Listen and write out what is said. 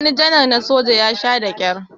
wani janar na soja ya Sha da kyar